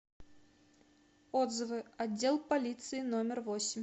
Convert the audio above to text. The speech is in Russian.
отзывы отдел полиции номер восемь